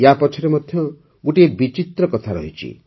ୟାପଛରେ ମଧ୍ୟ ଗୋଟିଏ ବିଚିତ୍ର କଥା ରହିଛି